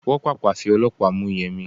Wọ́n Pàpà fi ọlọ́pàá mú Yẹmi.